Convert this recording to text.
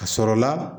A sɔrɔla